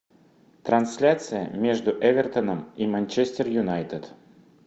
трансляция между эвертоном и манчестер юнайтед